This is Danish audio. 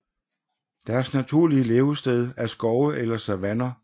Deres naturlige levested er skove eller savanner